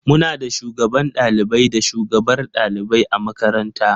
Muna da Shugaban ɗalibai da shugabar ɗalibai a makaranta.